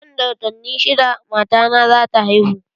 Nan da watanni shidda matana za ta haihu.